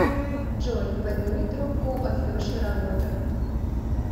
джой подними трубку от леши работа